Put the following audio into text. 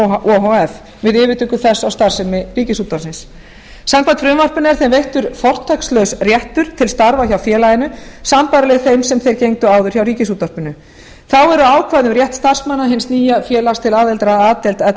o h f við yfirtöku þess á starfsemi ríkisútvarpið samkvæmt frumvarpinu er þeim veittur fortakslaus réttur til starfa hjá félaginu sambærileg þeim sem þeir gegndu áður hjá ríkisútvarpinu þá eru ákvæði um rétt starfsmanna hins nýja félags til aðildar að a deild l